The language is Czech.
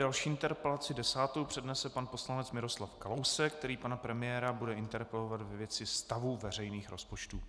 Další interpelaci, desátou, přednese pan poslanec Miroslav Kalousek, který pana premiéra bude interpelovat ve věci stavu veřejných rozpočtů.